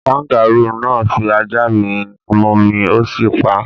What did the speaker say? Kangarúù náà fi ajá mi momi, ó sì pa á.